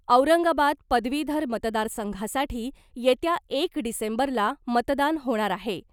औरंगाबाद पदवीधर मतदार संघासाठी येत्या एक डिसेंबरला मतदान होणार आहे .